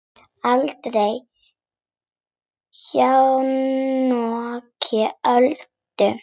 Aldrei jafnoki Öldu.